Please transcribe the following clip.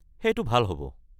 সেইটো ভাল হ’ব।